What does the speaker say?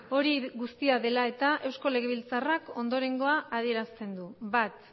hori guztia dela eta eusko legebiltzarrak ondorengoa adierazten du bat